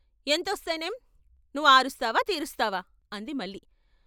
' ఎంతొస్తేనేం నువ్వు ఆరుస్తావా తీరుస్తావా ' అంది మల్లి.